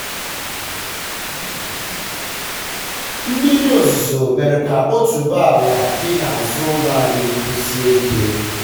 um mmiri ozuzo mere ka otuboala dị um n'azụ ụlọ anyị kwụsie ike. um